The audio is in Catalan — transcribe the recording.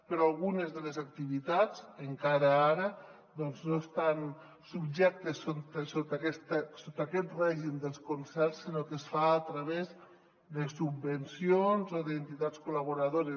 però algunes de les activitats encara ara doncs no estan subjectes sota aquest règim dels concerts sinó que es fa a través de subvencions o de entitats col·laboradores